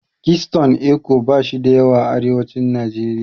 Kitson Eko bashi da yawa a arewacin Najeriya.